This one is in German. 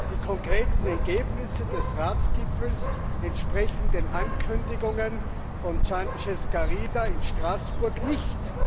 Die konkreten Ergebnisse des Ratsgipfels entsprechen den Ankündigungen von Sanchez Garido in Straßburg nicht.